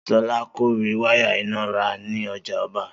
Solá kò rí wáyà iná rà ní ojà oba